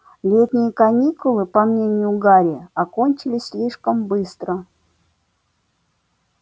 летние каникулы по мнению гарри окончились слишком быстро